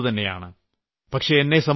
ഇതൊക്കെ വേണ്ടതുതന്നെയാണ്